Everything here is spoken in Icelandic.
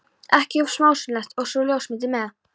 ekki of smásmugulegt- og svo ljósmyndir með.